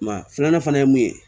Maa filanan fana ye mun ye